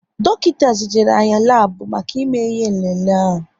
Dọkịta zijere anyị labu maka ime ihe nlele ahu